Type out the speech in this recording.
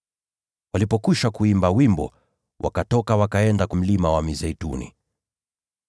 Walipokwisha kuimba wimbo, wakatoka wakaenda Mlima wa Mizeituni.